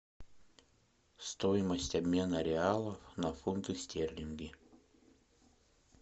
стоимость обмена реалов на фунты стерлинги